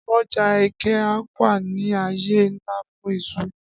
Ọjà Eke-Awka ní àyè ńlá fún iṣu